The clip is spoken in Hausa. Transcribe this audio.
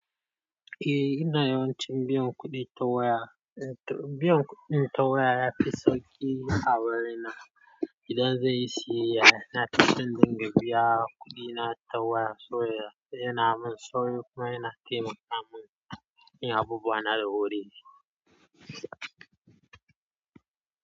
Eh, ina yawancin biyan kuɗi ta waya. Eh, biyan kuɗin ta waya yafi sauƙi a wurina. Idan zai yi siyayya, na tafi dinga biya kuɗina ta waya. So yana min sauƙi kuma yana taimaka min in yi abunuwa na da wuri.